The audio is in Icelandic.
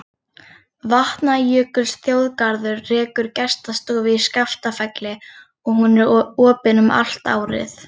Vatnajökulsþjóðgarður rekur gestastofu í Skaftafelli og er hún opin allt árið.